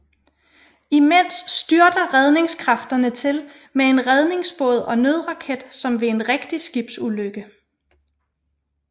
Imens styrter redningskræfterne til med en redningsbåd og nødraket som ved en rigtig skibsulykke